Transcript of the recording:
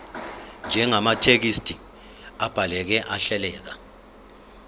njengamathekisthi abhaleke ahleleka